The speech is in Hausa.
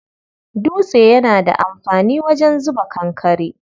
Dutse yana da amfani wajen zuba kankare.